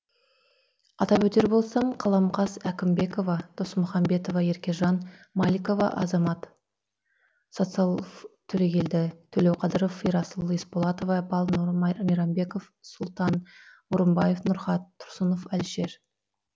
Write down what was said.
атап өтер болсам қаламқас әкімбекова досмухамбетова еркежан маликова азамат социалов төрегелді төлеуқадыров ерасыл есболатова балнұр мейрамбеков сұлтан орынбаев нұрхат тұрсынов әлішер